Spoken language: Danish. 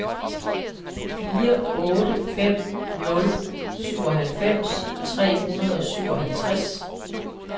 fire otte fem nul syvoghalvfems tre hundrede og syvoghalvtreds